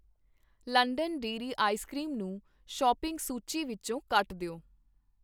London dairy ice cream ਨੂੰ shopping ਸੂਚੀ ਵਿੱਚੋ ਕੱਟ ਦਿਓ